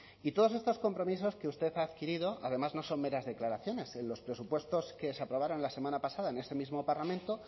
y todos estos compromisos que usted ha adquirido además no son meras declaraciones en los presupuestos que se aprobaron la semana pasada en este mismo parlamento